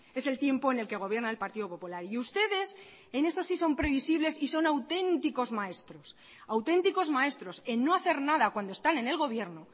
es el tiempo en el que gobierna el partido popular y ustedes en esos sí son previsibles y son auténticos maestros auténticos maestros en no hacer nada cuando están en el gobierno